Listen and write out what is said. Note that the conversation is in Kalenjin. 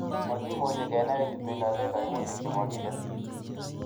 Mokimuche kenai ilebendito koimutik chemokicher